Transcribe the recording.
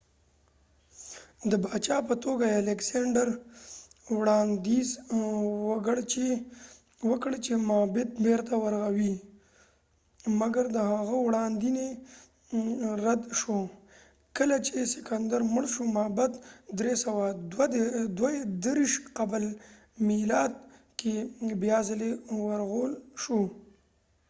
الکسیندر alexander د باچا په توګه وړانديز وکړ چې معبد بیرته ورغوي مګر د هغه وړانديز رد شو کله چې سکندر مړ شو معبد په 323 قبل المیلاد کې بیا ځلی ورغول شو